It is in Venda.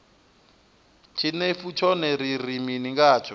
tshinefu tshone ri ri mini ngatsho